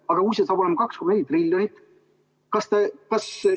Aga kui see saab olema 2,4 triljonit?